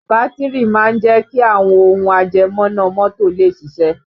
Bátìrì máa ń jẹ́ kí àwọn ohùn ajẹmọ́ná mọ́tò lè ṣiṣẹ́